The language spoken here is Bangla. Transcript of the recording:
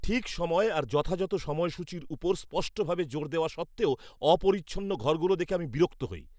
ঠিক সময় আর যথাযথ সময়সূচীর উপর স্পষ্টভাবে জোর দেওয়া সত্ত্বেও অপরিচ্ছন্ন ঘরগুলো দেখে আমি বিরক্ত হই!